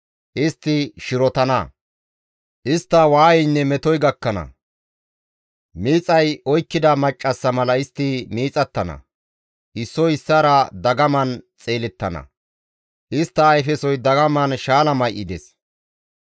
Istti shirotana; istta waayeynne metoy gakkana; miixay oykkida maccassa mala istti miixattana; issoy issaara dagaman xeelettana; istta ayfesoy dagaman shaala may7ides.